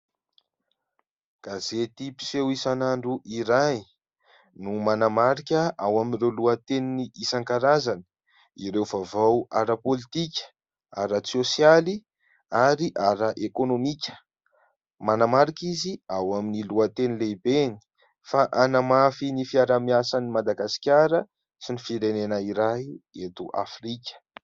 Gazety mpiseho isan'andro iray no manamarika ao amin'ireo lohateny isan-karazany, ireo vaovao ara pôlitika, ara-sôsialy ary ara-ekônomika manamarika izy ao amin'ny lohateny lehibeny fa "hanamafy ny fiarahamiasan'i Madagasikara sy ny firenena iray eto Afrika".